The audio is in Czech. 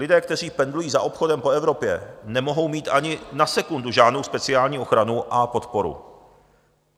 Lidé, kteří pendlují za obchodem po Evropě, nemohou mít ani na sekundu žádnou speciální ochranu a podporu.